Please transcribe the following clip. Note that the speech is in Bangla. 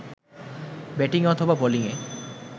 ব্যাটিংয়ে অথবা বোলিংএ